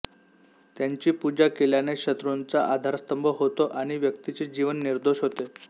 त्यांची पूजा केल्याने शत्रूंचा आधारस्तंभ होतो आणि व्यक्तीचे जीवन निर्दोष होते